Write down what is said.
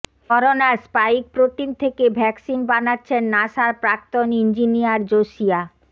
করোনার spike protein থেকে vaccine বানাচ্ছেন নাসার প্রাক্তন ইঞ্জিনিয়ার জোসিয়া